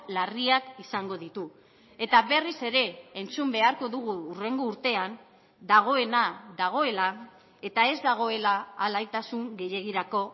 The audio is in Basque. larriak izango ditu eta berriz ere entzun beharko dugu hurrengo urtean dagoena dagoela eta ez dagoela alaitasun gehiegirako